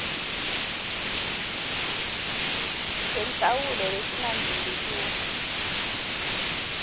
senhlawulo lesingadluli kur